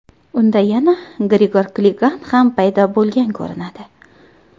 Unda yana Grigor Kligan ham paydo bo‘lgan ko‘rinadi.